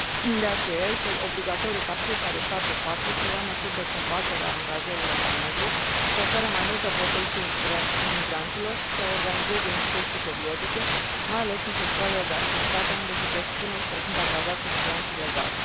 De aceea, este obligatoriu ca fiecare stat în parte să ia măsuri de combatere a angajărilor la negru, să ofere mai multă protecție imigranților și să organizeze inspecții periodice, mai ales în sectoarele de activitate unde se presupune că sunt angajați imigranți ilegali.